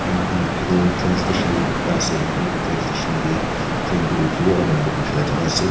moikhan dikhi toh train station ekta ase aru itu train station deh train tu rukhiwo aru manu ke pukhiwo laga jaga ase.